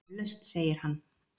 Eflaust, segir hann.